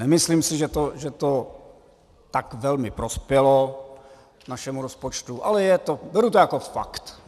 Nemyslím si, že to tak velmi prospělo našemu rozpočtu, ale beru to jako fakt.